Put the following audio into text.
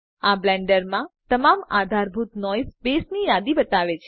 આ બ્લેન્ડરમાં તમામ આધારભૂત નોઈસ બેસની યાદી બતાવે છે